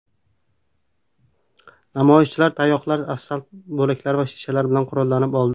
Namoyishchilar tayoqlar, asfalt bo‘laklari va shishalar bilan qurollanib oldi.